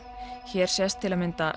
hér sést til að mynda